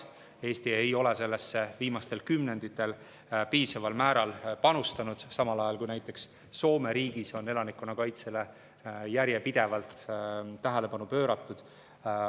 Eesti ei ole sellesse viimastel kümnenditel piisaval määral panustanud, samal ajal kui näiteks Soome riigis on elanikkonnakaitsele järjepidevalt tähelepanu pööratud.